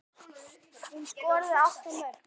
Hún skoraði átta mörk.